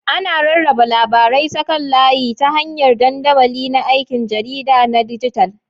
Ana rarraba labarai ta kan layi ta hanyar dandamali na aikin jarida na dijital.